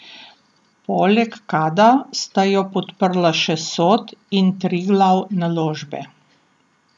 Poleg Kada sta jo podprla še Sod in Triglav Naložbe.